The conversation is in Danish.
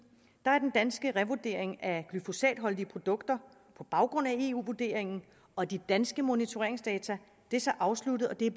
er den danske revurdering af glyfosatholdige produkter på baggrund af eu vurderingen og de danske monitoreringsdata afsluttet og det er